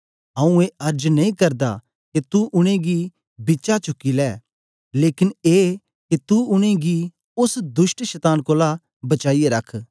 आऊँ ए अर्ज नेई करदा के तू उनेंगी बिचा चुकी लै लेकन ए के तू उनेंगी ओस दुष्ट शतान कोलां बचाईयै रख